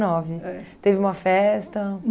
É.